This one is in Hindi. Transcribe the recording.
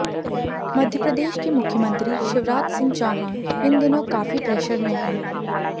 मध्यप्रदेश के मुख्यमंत्री शिवराज सिंह चौहान इन दिनों काफी प्रेशर में हैं